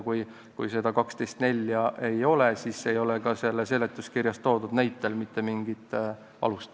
Kui aga seda § 12 lõiget 4 ei ole, siis ei ole ka selles seletuskirjas toodud näitel mitte mingit alust.